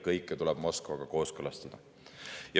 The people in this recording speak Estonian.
Kõike tuleb Moskvaga kooskõlastada.